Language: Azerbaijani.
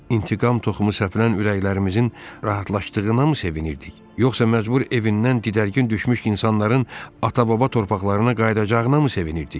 İntiqam toxumu səpilən ürəklərimizin rahatladığına mı sevinirdik, yoxsa məcbur evindən didərgin düşmüş insanların ata-baba torpaqlarına qayıdacağına mı sevinirdik?